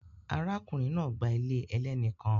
Arákùnrin náà gba ilé ẹlẹ́ni kan